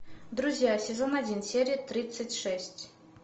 друзья сезон один серия тридцать шесть